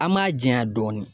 An m'a janya dɔɔnin